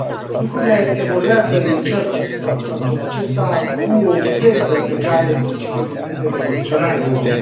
Lucrurile evoluează, e cert faptul acesta, cu o viteză pe care, în principiu, evenimentele revoluționare o au.